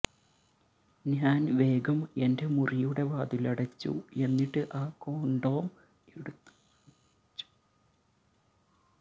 ഞാൻ വേഗം എന്റെ മുറിയുടെ വാതിലടച്ചു എന്നിട്ട് ആ കോൺടോം എടുത്തു മണപ്പിച്ചു